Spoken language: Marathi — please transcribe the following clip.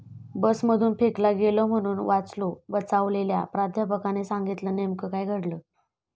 बसमधून फेकला गेलो म्हणून वाचलो, बचावलेल्या प्राध्यापकाने सांगितलं नेमकं काय घडलं?